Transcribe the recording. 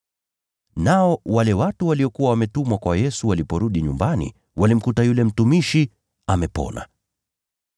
Nao wale watu waliokuwa wametumwa kwa Yesu waliporudi nyumbani walimkuta yule mtumishi amepona.